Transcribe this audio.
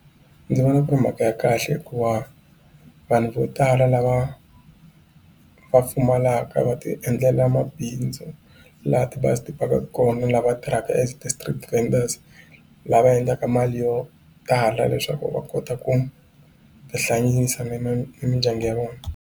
Ndzi vona ku ri mhaka ya kahle hikuva vanhu vo tala lava va pfumalaka va ti endlela mabindzu laha tibazi ti pakaka kona lava tirhaka as ti-street vendors lava endlaka mali yo tala leswaku va kota ku ti hlayisa ni mindyangu ya vona.